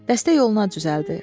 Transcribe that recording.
Dəstə yola düzəldi.